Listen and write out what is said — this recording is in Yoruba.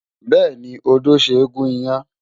Bẹ́ẹ̀ni, odó ṣe é gún iyán.